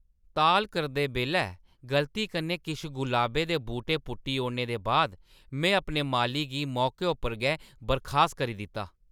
ताल करदे बेल्लै गलती कन्नै किश गुलाबै दे बूह्‌टे पुट्टी ओड़ने दे बाद में अपने माली गी मौके उप्पर गै बर्खास्त करी दित्ता।